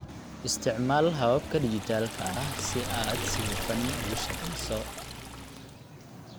Isticmaal hababka dhijitaalka ah si aad si hufan ugu shaqeyso.